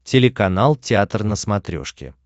телеканал театр на смотрешке